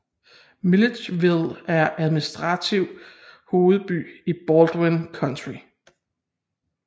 Milledgeville er administrativ hovedby i Baldwin County